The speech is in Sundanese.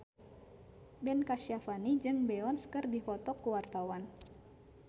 Ben Kasyafani jeung Beyonce keur dipoto ku wartawan